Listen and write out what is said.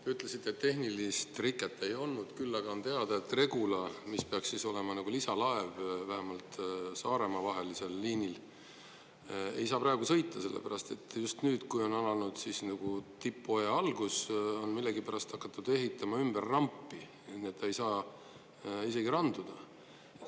Te ütlesite, et tehnilist riket ei olnud, küll aga on teada, et Regula, mis peaks olema nagu lisalaev, vähemalt Saaremaa liinil, ei saa praegu sõita, sellepärast et just nüüd, kui on alanud nagu tippaja algus, on millegipärast hakatud ehitama ümber rampi, nii et ta ei saa isegi randuda.